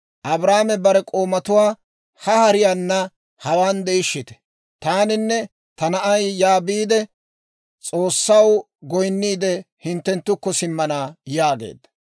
Abrahaame bare k'oomatuwaa, «Ha hariyaana hawaan de'ishshite; taaninne ta na'ay yaa biide S'oossaw goyinniide, hinttenttukko simmana» yaageedda.